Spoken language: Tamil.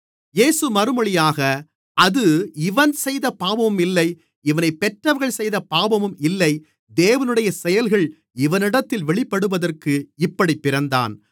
இயேசு மறுமொழியாக அது இவன் செய்த பாவமும் இல்லை இவனைப் பெற்றவர்கள் செய்த பாவமும் இல்லை தேவனுடைய செயல்கள் இவனிடத்தில் வெளிப்படுவதற்கு இப்படிப் பிறந்தான்